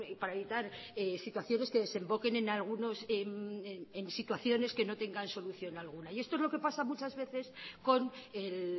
para evitar situaciones que desemboquen en algunas situaciones que no tengan solución alguna y esto es lo que pasa muchas veces con el